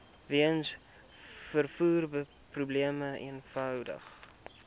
weens vervoerprobleme eenvoudig